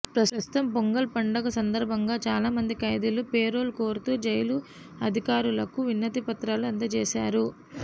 ప్రస్తుతం పొంగల్ పండుగ సందర్భంగా చాలా మంది ఖైదీలు పెరోల్ కోరుతూ జైలు అధికారులకు వినతిపత్రా లు అందజేశారు